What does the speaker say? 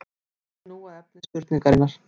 Víkjum nú að efni spurningarinnar.